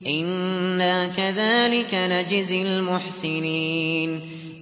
إِنَّا كَذَٰلِكَ نَجْزِي الْمُحْسِنِينَ